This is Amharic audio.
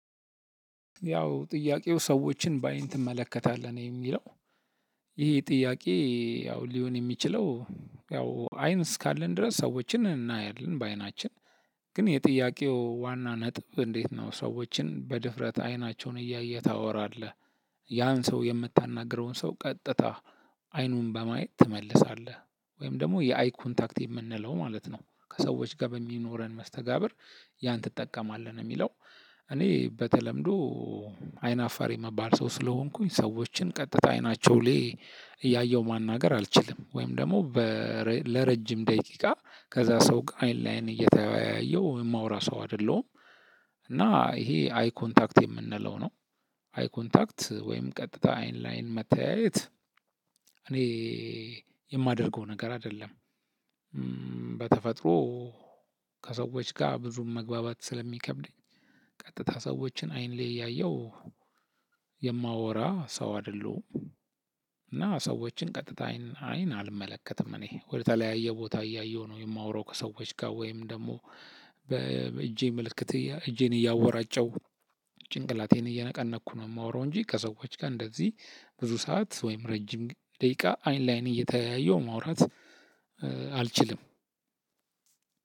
ያው ጥያቄው ሰዎችን በአይን ትመለከታለህ ነው የሚለው? ይሄ ጥያቄ ያው ሊሆን የሚችለው። ያው አይን እስካለን ድረስ ሰዎችን እናያለን በአይናችን። ግን የጥያቄው ዋና ነጥብ እንዴት ነው? ሰዎችን በድፍረት አይናቸውን እያየ ታወራለህ ያን ሰው የምታናግረውን ሰው ቀጥታ አይኑን በማየት ትመልሳለህ? ወይም ደግሞ የአይ ኮንታክት የምንለው ማለት ነው ከሰዎች ጋር በሚኖረን መስተጋብር? ያን ትጠቀማለህ የሚለው። እኔ በተለምዶ አይናፋር የምባል ሰው ስለሆንኩኝ ሰዎችን ቀጥታ አይናቸው ላይ እያየሁ ማናገር አልችልም። ወይም ደግሞ በ እ እ ለረጅም ደቂቃ ከዛ ሰው አይን ለአይን እየተያየሁ የማወራ ሰው አይደለሁም። እና ይሄ አይ ኮንታክት የምንለው ነው። አይ ኮንታክት ወይም ቀጥታ አይን ለአይን መተያየት እኔኔ የማደርገው ነገር አይደለም። እምምም በተፈጥሮ ከሰዎች ጋር ብዙም መግባባት ስለሚከብደኝ። ቀጥታ ሰዎችን አይን ላይ ያየው የማወራ ሰው አድለሁም። እና ሰዎችን ቀጥታ አይን አይን አልመለከትም እኔ ወደተለያየ ቦታ እያየሁ ነው የማወራው። ከሰዎች ጋር ወይም ደግሞ በእጄ ምልክት እየ እጄን እያወራጨው ጭንቅላቴን እየነቀነቅኩ ነው የማወራው። እንጂ ከሰዎች ጋር እንደዚህ ብዙ ሰዓት ወይም ረጅም ደቂቃ አይን ለአይን እየተያየሁ ማውራት እ አልችልም።